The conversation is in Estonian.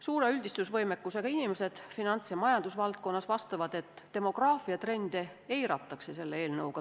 Suure üldistusvõimekusega inimesed finants- ja majandusvaldkonnas vastavad, et demograafiatrende selle eelnõuga eiratakse.